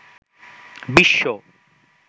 বিশ্ব